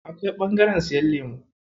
Akwai ɓangaren siyan lemu.